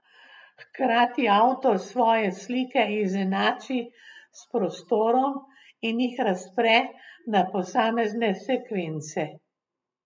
Hkrati avtor svoje slike izenači s prostorom in jih razpre na posamezne sekvence.